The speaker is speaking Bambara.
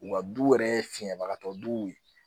U ka du yɛrɛ ye fiɲɛbagatɔ duw ye